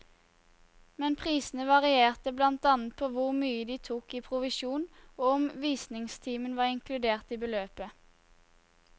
Men prisene varierte blant annet på hvor mye de tok i provisjon og om visningstimen var inkludert i beløpet.